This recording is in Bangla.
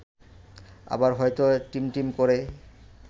আবার হয়তো টিমটিম করে